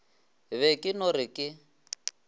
be ke no re ke